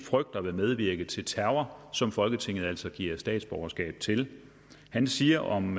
frygter vil medvirke til terror og som folketinget altså giver statsborgerskab til han siger om